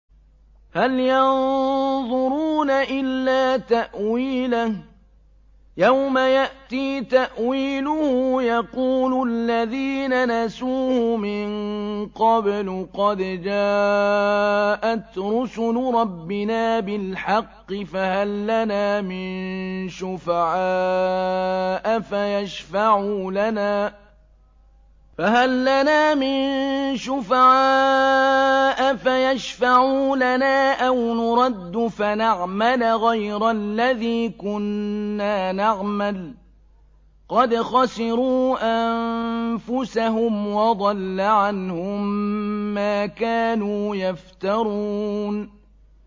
هَلْ يَنظُرُونَ إِلَّا تَأْوِيلَهُ ۚ يَوْمَ يَأْتِي تَأْوِيلُهُ يَقُولُ الَّذِينَ نَسُوهُ مِن قَبْلُ قَدْ جَاءَتْ رُسُلُ رَبِّنَا بِالْحَقِّ فَهَل لَّنَا مِن شُفَعَاءَ فَيَشْفَعُوا لَنَا أَوْ نُرَدُّ فَنَعْمَلَ غَيْرَ الَّذِي كُنَّا نَعْمَلُ ۚ قَدْ خَسِرُوا أَنفُسَهُمْ وَضَلَّ عَنْهُم مَّا كَانُوا يَفْتَرُونَ